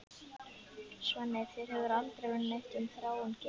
Svenni, þér hefur aldrei verið neitt um Þráin gefið.